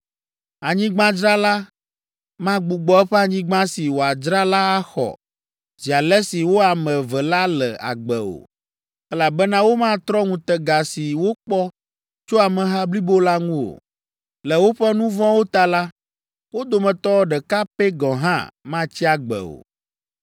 Anyigbadzrala magbugbɔ eƒe anyigba si wòdzra la axɔ zi ale si wo ame eve la le agbe o, elabena womatrɔ ŋutega si wokpɔ tso ameha blibo la ŋu o. Le woƒe nu vɔ̃wo ta la, wo dometɔ ɖeka pɛ gɔ̃ hã matsi agbe o.